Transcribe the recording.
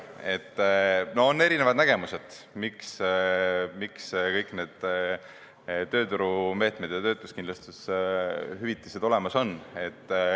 On erinevad nägemused, miks kõik need tööturumeetmed ja töötuskindlustushüvitised olemas on.